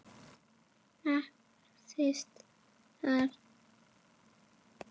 Nærðist þar.